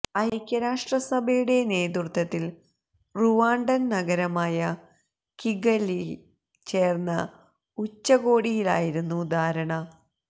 ഐക്യരാഷ്ട്ര സഭയുടെ നേതൃത്വത്തില് റുവാണ്ടന് നഗരമായ കിഗലിയില് ചേര്ന്ന ഉച്ചകോടിയിലായിരുന്നു ധാരണ